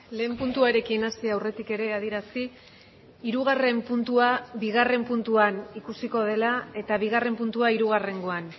lehen puntuarekin hasi aurretik ere adierazi hirugarren puntua bigarren puntuan ikusiko dela eta bigarren puntua hirugarrengoan